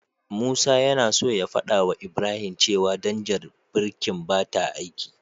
Musa yana so ya fadawa Ibrahim cewa danjar birkin bata aiki.